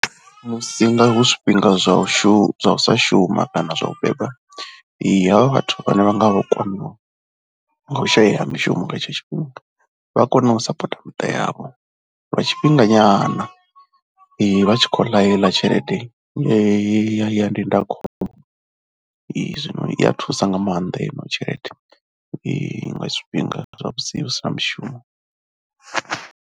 Musi nga hu zwifhinga zwa u sa shuma, u sa shuma kana zwa u beba havha vhathu vhane vha nga vho kwamiwa nga u shayeya ha mishumo nga tshetsho tshifhinga vha ya kona u sapotha miṱa yavho lwa tshifhinga nyana. Ee vha tshi khou ḽa heiḽa tshelede ya ndindakhombo zwino i ya thusa nga maanḓa i no tshelede nga tshifhinga tsha musi hu si na mushumo.